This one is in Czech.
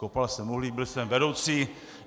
Kopal jsem uhlí, byl jsem vedoucí.